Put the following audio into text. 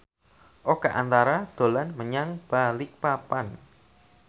Oka Antara dolan menyang Balikpapan